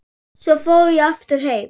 Svo ég fór aftur heim.